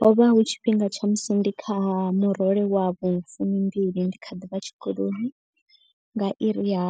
Ho vha hu tshifhinga tsha musi ndi kha murole wa vhufumi mbili ndi kha ḓivha tshikoloni. Nga iri ya